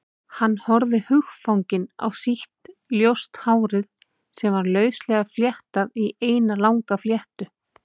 Hann horfði hugfanginn á sítt, ljóst hárið sem var lauslega fléttað í eina langa fléttu.